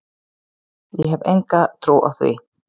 Ég hef enga trú á því,